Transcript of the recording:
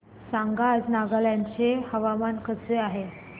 सांगा आज नागालँड चे हवामान कसे आहे